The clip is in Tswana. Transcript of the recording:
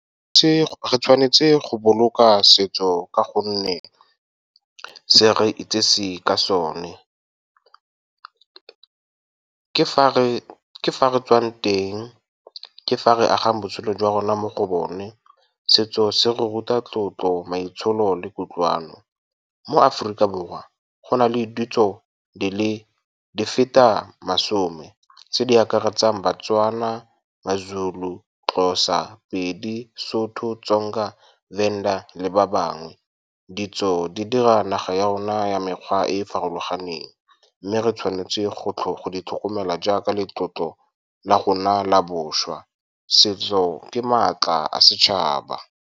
Re tshwanetse go boloka setso ka gonne se re itsise ka sone. Ke fa re tswang teng, ke fa re agang botshelo jwa rona mo go bone. Setso se ruta tlotlo, maitsholo le kutlwano. Mo Aforika Borwa go na le ditso di feta masome, tse di akaretsang baTswana, maZulu, Xhosa, Pedi, Sotho, Tsonga, Venda le ba bangwe. Ditso di dira naga ya rona ya mekgwa e e farologaneng, mme re tshwanetse go di tlhokomela jaaka letlotlo la rona la bošwa. Setso ke maatla a setšhaba.